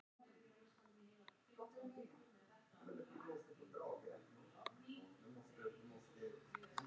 Þetta var yfirleitt duglegt og húsbóndahollt fólk sem vildi inna störf sín vel af hendi.